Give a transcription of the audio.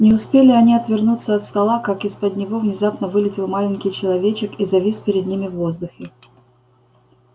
не успели они отвернуться от стола как из-под него внезапно вылетел маленький человечек и завис перед ними в воздухе